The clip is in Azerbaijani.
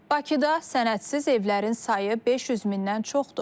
Bakıda sənədsiz evlərin sayı 500 mindən çoxdur.